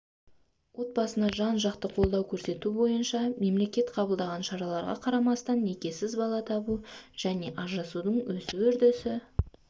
отбасына жан-жақты қолдау көрсету бойынша мемлекет қабылдаған шараларға қарамастан некесіз бала табу және ажырасудың өсу үрдісі